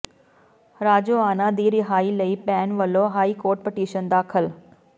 ਰਾਜੋਆਣਾ ਦੀ ਰਿਹਾਈ ਲਈ ਭੈਣ ਵਲੋਂ ਹਾਈਕੋਰਟ ਪਟੀਸ਼ਨ ਦਾਖ਼ਲ